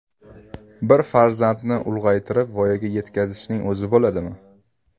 Bir farzandni ulg‘aytirib, voyaga yetkazishning o‘zi bo‘ladimi?